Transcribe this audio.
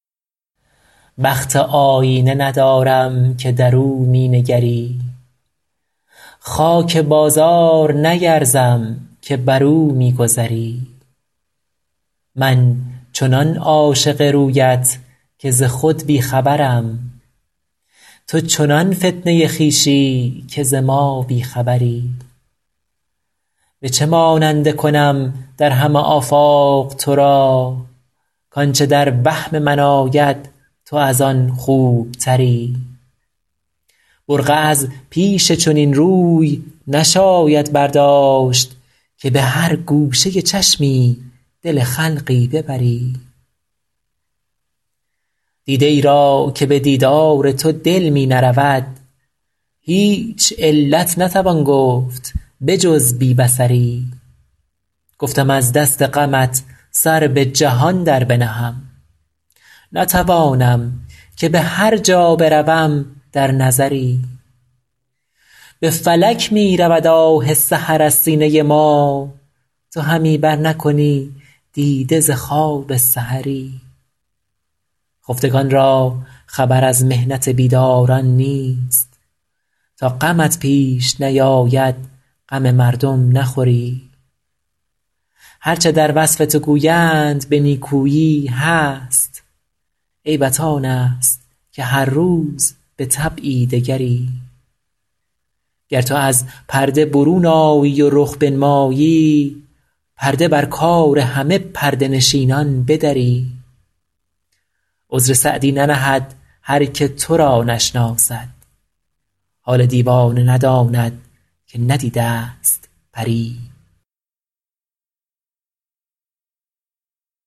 بخت آیینه ندارم که در او می نگری خاک بازار نیرزم که بر او می گذری من چنان عاشق رویت که ز خود بی خبرم تو چنان فتنه خویشی که ز ما بی خبری به چه ماننده کنم در همه آفاق تو را کآنچه در وهم من آید تو از آن خوبتری برقع از پیش چنین روی نشاید برداشت که به هر گوشه چشمی دل خلقی ببری دیده ای را که به دیدار تو دل می نرود هیچ علت نتوان گفت به جز بی بصری گفتم از دست غمت سر به جهان در بنهم نتوانم که به هر جا بروم در نظری به فلک می رود آه سحر از سینه ما تو همی برنکنی دیده ز خواب سحری خفتگان را خبر از محنت بیداران نیست تا غمت پیش نیاید غم مردم نخوری هر چه در وصف تو گویند به نیکویی هست عیبت آن است که هر روز به طبعی دگری گر تو از پرده برون آیی و رخ بنمایی پرده بر کار همه پرده نشینان بدری عذر سعدی ننهد هر که تو را نشناسد حال دیوانه نداند که ندیده ست پری